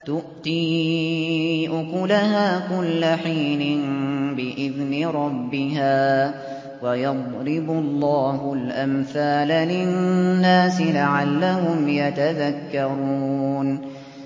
تُؤْتِي أُكُلَهَا كُلَّ حِينٍ بِإِذْنِ رَبِّهَا ۗ وَيَضْرِبُ اللَّهُ الْأَمْثَالَ لِلنَّاسِ لَعَلَّهُمْ يَتَذَكَّرُونَ